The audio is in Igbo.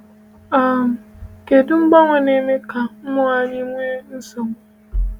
um Kedụ mgbanwe na-eme ka mmụọ anyị nwee nsogbu?